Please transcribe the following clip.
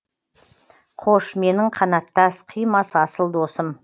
қош менің қанаттас қимас асыл досым